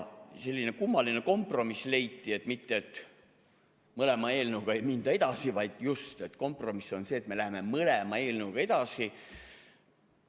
Selline kummaline kompromiss leiti: mitte kummagi eelnõuga ei minda edasi, vaid just kompromiss on see, et me läheme mõlema eelnõuga edasi.